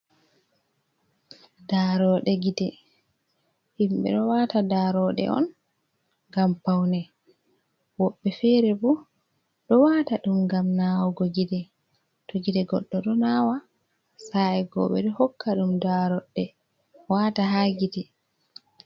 Daaroɗe gite, himɓe ɗo wata daaroɗe on ngam paune, woɓɓe fere bo ɗo wata ɗum ngam nawugo gite, to gite goɗɗo ɗo nawa sa’i go ɓeɗo hokka ɗum daaroɗe wata ha gite.